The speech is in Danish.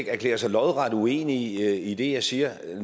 erklærer sig lodret uenig i det jeg siger